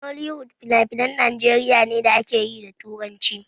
Nollywood finafinan Najeriya ne da akeyi da turanci.